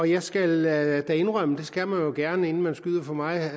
jeg skal da indrømme og det skal man jo gerne inden man skyder for meget